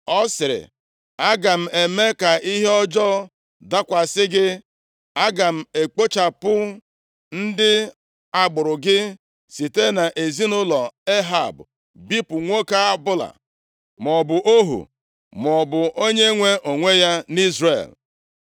Ọ sịrị, ‘Aga m eme ka ihe ọjọọ dakwasị gị. Aga m ekpochapụ ndị agbụrụ gị, site nʼezinaụlọ Ehab bipụ nwoke ọbụla, maọbụ ohu maọbụ onyenwe onwe ya nʼIzrel.